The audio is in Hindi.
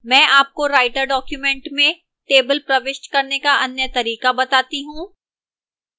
मैं आपको writer document में table प्रविष्ट करने का अन्य तरीका बताता हूं